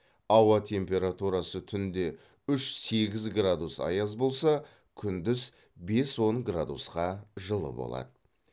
ауа температурасы түнде үш сегіз градус аяз болса күндіз бес он градусқа жылы болады